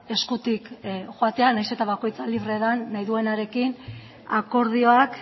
eskutik joatea nahiz eta bakoitza libre den nahi duenarekin akordioak